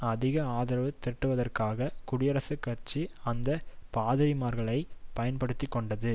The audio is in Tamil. அதிக ஆதரவு திரட்டுவதற்காக குடியரசுக்கட்சி அந்த பாதிரிமார்களை பயன்படுத்தி கொண்டது